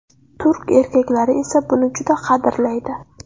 Turk erkaklari esa buni juda qadrlaydi.